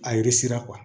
A yiri sera